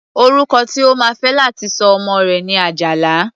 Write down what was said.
Orúkọ tí o máa fé láti sọ ọmọ rẹ̀ ni Àjàlá.